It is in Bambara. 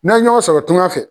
N'an ye ɲɔgɔn sɔrɔ tunga fɛ